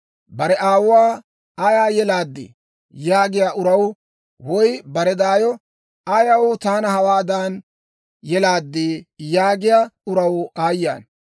Bare aawuwaa, ‹Ayaw yelaaddii?› yaagiyaa uraw, woy bare daayo, ‹Ayaw taana hawaadan yelaaddii?› yaagiyaa uraw aayye ana!